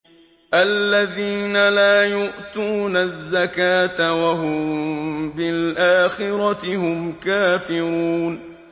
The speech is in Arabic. الَّذِينَ لَا يُؤْتُونَ الزَّكَاةَ وَهُم بِالْآخِرَةِ هُمْ كَافِرُونَ